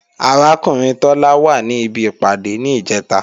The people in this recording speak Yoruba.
Arákùnrin Tọ́lá wà ní ibi ìpàdé ní Ìjẹ́ta